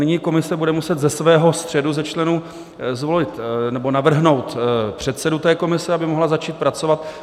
Nyní komise bude muset ze svého středu, ze členů, zvolit nebo navrhnout předsedu té komise, aby mohla začít pracovat.